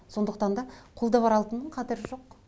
сондықтан да қолда бар алтынның қадірі жоқ